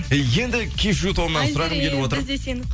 енді кешью тобынан сұрағым келіп отыр